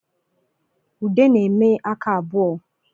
Ude na-eme aka abụọ